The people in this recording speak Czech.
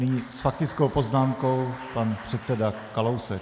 Nyní s faktickou poznámkou pan předseda Kalousek.